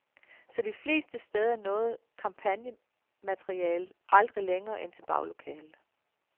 Så de fleste steder nåede kampagnematerialet aldrig længere end til baglokalet.